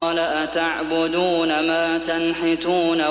قَالَ أَتَعْبُدُونَ مَا تَنْحِتُونَ